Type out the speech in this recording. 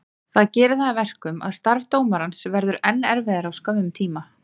Það gerir það að verkum að starf dómarans verður enn erfiðara á skömmum tíma.